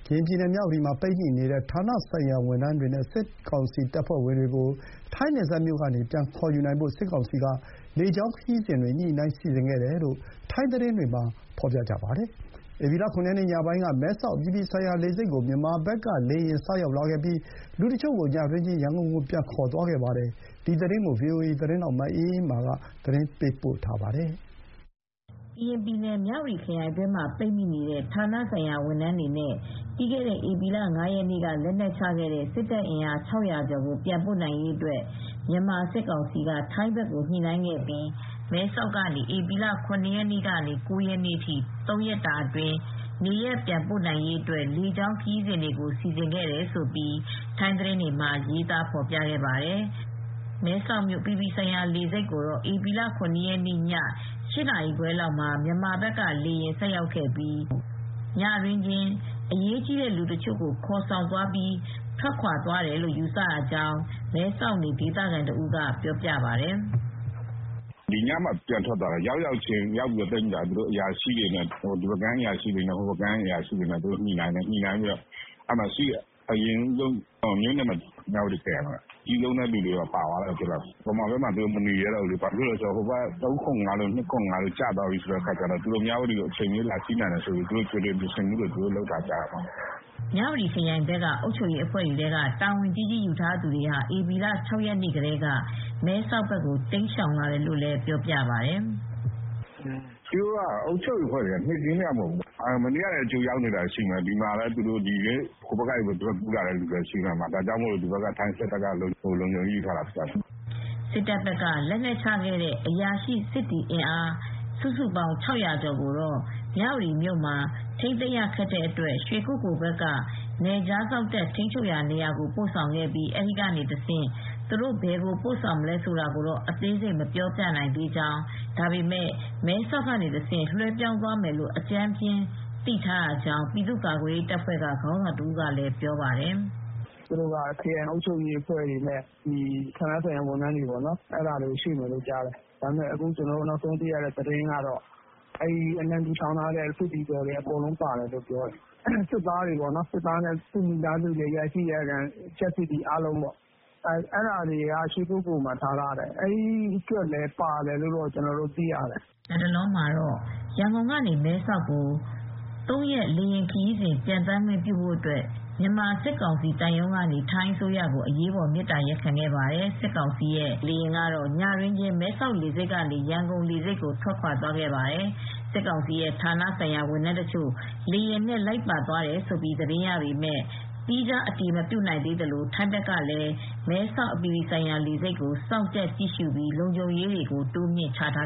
ရင်ပြည်နယ် မြ၀တီမှာ ပိတ်မိနေတဲ့ ဌာနဆိုင်ရာဝန်ထမ်းတွေနဲ့ စစ်ကောင်စီတပ်ဖွဲ့ဝင်တွေကို ထိုင်းနယ်စပ်မြို့ကနေ ပြန်ခေါ်ယူနိုင်ဖို့ စစ်ကောင်စီက လေကြောင်းခရီးစဉ်တွေ ညှိုနှိုင်းစီစဉ်ခဲ့တယ်လို့ ထိုင်းသတင်းတွေမှာ ဖော်ပြပါတယ်။ ဧပြီလ ၇ရက်နေ့ ညပိုင်းက မဲဆောက်အပြည်ပြည်ဆိုင်ရာလေဆိပ်ကို မြန်မာဘက်က လေယာဉ်ဆိုက်ရောက်လာခဲ့ပြီး လူတချို့ကို ညတွင်းချင်း ရန်ကုန်ကိုပြန်ခေါ်သွားခဲ့ပါတယ်။ ဗွီအိုအေသတင်းထောက်မအေးအေးမာကသတင်းပေးပို့ထားပါတယ်။ ကရင်ပြည်နယ် မြ၀တီခရိုင်အတွင်းမှာ ပိတ်မိနေတဲ့ ဌာနဆိုင်ရာဝန်ထမ်းတွေနဲ့ ပြီးခဲ့တဲ့ဧပြီလ ၅ရက်နေ့တုန်းက KNU ထံ လက်နက်ချခဲ့တဲ့ စစ်တပ်အင်အား ၆၀၀ကျော်ကို ပြန်ခေါ်ယူဖို့ မြန်မာစစ်ကောင်စီက ထိုင်းဘက်ကိုညှိနိုင်းခဲ့ပြီး၊ မဲဆောက်ကနေ ဧပြီလ ၇ရက်နေ့က ၉ရက်နေထိ လေကြောင်းခရီးစဉ်တွေကို စီစဉ်ခဲ့တယ်လို့ ထိုင်းသတင်းတွေမှာရေးသားခဲ့ပါတယ်။ မဲဆောက်မြို့အပြည်ပြည်ဆိုင်ရာလေဆိပ်ကို ဧပြီလ ၇ရက်နေ့ ည ၈နာရီခွဲလောက်က မြန်မာဘက်က လေယာဉ်တစင်းဆိုက်ရောက်ပြီး ညတွင်းချင်းပဲ အရေးကြီးတဲ့ လူတချိုကိုခေါ်ဆောင်သွားတယ်လို့ ယူဆရကြောင်း မဲဆောက်နေဒေသခံတဦးကပြောပြပါတယ်။ "ဒီညမှ ပြန်ထွက်သွားတာ၊ ရောက်ရောက်ခြင်းမှာပဲ သိပ်မကြာဘူး ဒီဘက်က အရာရှိတွေနဲ့ ဟိုဘက်ကမ်း အရာရှိတွေဆွေးနွေးကြတယ်။မြ၀တီခရိုင်က အကြီးဆုံးအရာရှိတွေပါသွားတယ်။ မြန်မာဘက်မှာမနေရဲတော့ဘူး။ ခမရ ၃၇၅တို့ ခလရ ၂၇၅တို့ကျသွားပြီဆိုတော့ မြ၀တီ ကို အချိန်မရွေးစီးနင်းနိုင်တယ်ဆိုပြီး သူတို့ကတော့ကြိုတင်ပြင်ဆင်မူတွေလုပ်တာပဲ။" မြ၀တီခရိုင်ဘက်က အုပ်ချုပ်ရေးပိုင်းတာဝန်ကြီးကြီးယူထားသူတွေဟာ ဧပြီလ ၆ရက်နေ့ကတည်းက မဲဆောက်ဘက်ကိုတိမ်းရှောင်လာတယ်လို့လည်းပြောပါတယ်။ "သူတို့က အုပ်ချုပ်ရေးအဖွဲ့ နေ့ခင်းကတင်မဟုတ်ဘူး မနေ့ကတည်းက ကြိုတင်ရောက်နေတာတွေလည်းရှိတယ်။ ဒီနေ့လည်း ဟိုဘက်ကနေ ကူးလာတာလည်းရှိတယ်။ ဒါကြောင့်ထိုင်းစစ်တပ်ကလုံခြုံရေးယူထားတာဖြစ်တယ်။" စစ်တပ်ဘက်က လက်နက်ချခဲ့တဲ့ အရာရှိစစ်သည်အင်အား စုစုပေါင်း ၆၀၀ကျော်ကိုတော့ မြ၀တီမြို့မှာ ထိမ်းသိမ်းရခက်တဲ့အတွက် ရွှေကုက္ကိုလ် ဘက်က နယ်ခြားစောင့်တပ် ထိမ်းချုပ်ရာနေရာကို ပို့ဆောင်ထားပြီး၊ အဲဒီကနေတဆင့် သူတို့ဘယ်ကိုပို့ဆောင်မလဲဆိုတာကိုတော့ အသေးစိတ်မပြောနိုင်သေးဘူးလို့ ပြည်သူ့ကာကွယ်ရေး PDF ခေါင်းဆောင်တဦးက ပြောပါတယ်။ ဒီလူတွေကို မဲဆောက်ကနေတဆင့် လွှဲပြောင်းသွားမယ်လို့အကြမ်းဖျင်းသိထားရကြောင်းလည်း ပြောပါတယ်။ "သူတို့ကတော့ ခရိုင်အုပ်ချုပ်ရေးအဖွဲ့ တွေနဲ့ ဌာနဆိုင်ရာတွေအကုန်ရွေ့မယ်လို့သိရပါတယ်။ နောက်ဆုံးသိရတာကတော့ အလံဖြူထောင်ထားတဲ့ စစ်သည်တော်တွေအကုန်လုံးပါမယ်လို့သိရပါတယ်။ စစ်သားတွေနဲ့ အကြပ်စစ်သည်တွေ အရာရှိအရာခံတွေအားလုံးပေါ့၊ သူ့မိသားစုတွေလည်းပါမယ်ကြားပါတယ်။ အဲဒါတွေကတော့ ရွှေကုက္ကိုလ်မှာ ထားတယ်။ အဲဒီကလူတွေလည်းပါမယ်လို့သိရပါတယ်။" လတ်တလောမှာတော့ ရန်ကုန်ကနေ မဲဆောက်ကို ၃ ရက်တာ လေယာဉ်ခရီးစဉ် ပျံသန်းခွင့်ပြုဖို့ စစ်ကောင်စီသံရုံးကနေ ထိုင်းအစိုးရကိုအရေးပေါ် မေတ္တာရပ်ခံခဲ့တယ်လို့ သိရပါတယ်။ မနေ့ညကရောက်တဲ့ စစ်ကောင်စီရဲ့ လေယာဉ်ကတော့ ညတွင်းချင်းပဲ မဲဆောက်လေဆိပ်ကနေ ရန်ကုန်ကိုပြန်လည်ထွက်ခွာသွားပါတယ်။ စစ်ကောင်စီရဲ့ဌာနဆိုင်ရာဝန်ထမ်းတချို့ လေယာဉ်နဲ့ပါသွားတယ်လို့ သတင်းရပေမယ့် သီးခြားအတည်မပြုနိုင်သေးပါဘူး။ မဲဆောက်အပြည်ပြည်ဆိုင်ရာလေဆိပ်မှာလည်း ထိုင်းဘက်က လုံခြုံရေးတွေတိုးမြှင့်ချထား